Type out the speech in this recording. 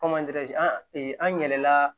an yɛlɛla